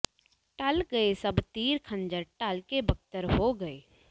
ਢਲ ਗਏ ਸਭ ਤੀਰ ਖੰਜਰ ਢਲ ਕੇ ਬਕਤਰ ਹੋ ਗਏ